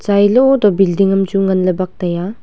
chailo toh building am chu ngan ley bak tai a.